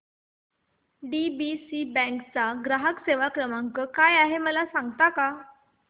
DCB bank चा ग्राहक सेवा क्रमांक काय आहे मला सांगता का